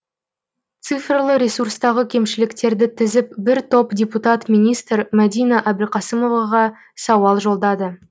цифрлы ресурстағы кемшіліктерді тізіп бір топ депутат министр мәдина әбілқасымоваға сауал жолдады